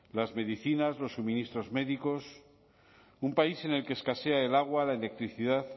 las medicinas los suministros médicos un país en el que escasea el agua la electricidad